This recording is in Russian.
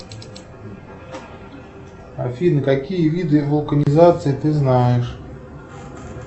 афина какие виды вулканизации ты знаешь